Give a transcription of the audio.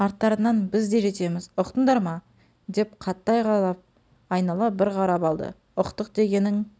арттарыңнан біз де жетеміз ұқтыңдар ма деп қатты айқайлап айнала бір қарап алды ұқтық дегенің